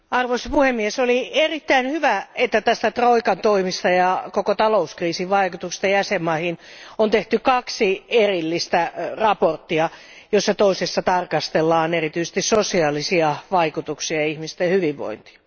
Arvoisa puhemies, oli erittäin hyvä, että troikan toimista ja koko talouskriisin vaikutuksista jäsenmaihin on tehty kaksi erillistä mietintöä, joista toisessa tarkastellaan erityisesti sosiaalisia vaikutuksia ja ihmisten hyvinvointia.